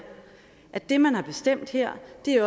at det man har bestemt her